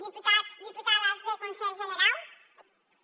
diputats deputades deth conselh generau